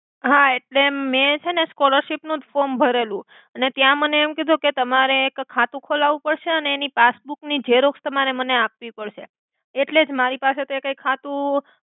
હા એટ્લે મે છેને સ્કૉલરશિપ નુ જ ફોમ ભરેલુ ને ત્યા મને એમ કિધુ કે તમારે એક ખાતુ ખોલાવુ પડ્સે અને એનિ પાસ્બૂકનિ ક્સેરોક્સ તમારે મને આપવી પડ્સે એટ્લે જ મારી પાસે તો એકાઇ ખાતુ!